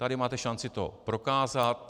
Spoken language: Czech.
Tady máte šanci to prokázat.